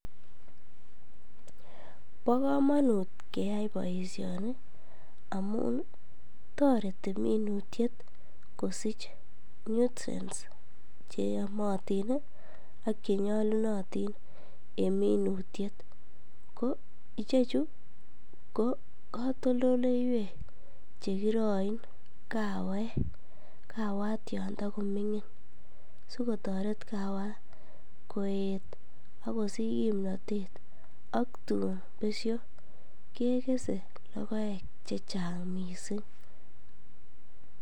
Bokomonut keyai boishoni amun toreti minutiet kosich nutrients cheyomotin ak chenyolunotin en minutiet ko ichechu ko katoldoleiwek chekiroin kawek, kawat yon tokomingin sikotoret kawat koet ak kosich kimnotet ak tuun besho kekese lokoek chechang mising.